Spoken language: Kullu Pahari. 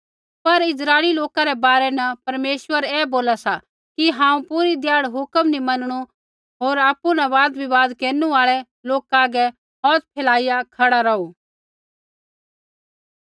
पर इस्राइली लोका रै बारै न परमेश्वर ऐ बोला सा कि हांऊँ पूरी ध्याड़ हुक्म नी मनणु होर आपु न वाद विबाद केरनु आल़ै लोका हागै हौथ फेलाईया खड़ा रौहू